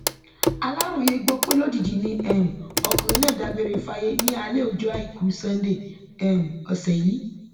aláròye gbọ pé lójijì ni um ọkùnrin náà dágbére fáyé ní alẹ ọjọ àìkú sánńdé um ọsẹ yìí